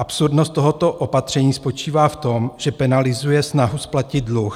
Absurdnost tohoto opatření spočívá v tom, že penalizuje snahu splatit dluh.